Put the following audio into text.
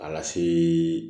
A lase